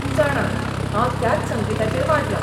तूं जाणां, हांव त्याच संगीताचेर वाडलां.